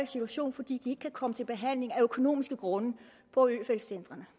situation fordi de ikke kan komme til behandling af økonomiske grunde på øfeldt centrene